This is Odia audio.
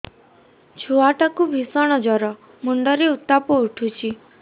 ଛୁଆ ଟା କୁ ଭିଷଣ ଜର ମୁଣ୍ଡ ରେ ଉତ୍ତାପ ଉଠୁଛି